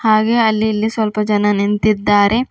ಹಾಗೆ ಅಲ್ಲಿ ಇಲ್ಲಿ ಸ್ವಲ್ಪ ಜನ ನಿಂತಿದ್ದಾರೆ.